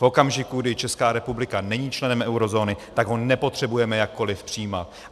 V okamžiku, kdy Česká republika není členem eurozóny, tak ho nepotřebujeme jakkoliv přijímat.